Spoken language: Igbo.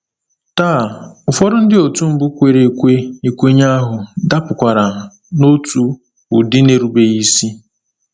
Taa, ụfọdụ ndị otu mbụ kwere ekwe ekwenye ahụ dapụkwara n’otu ụdị nà-erubeghị isi.